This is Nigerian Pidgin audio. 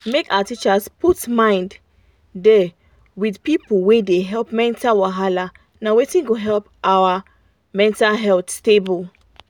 make our teachers put mind da with people wey dey help mental wahala na wetin go help make our mental health stable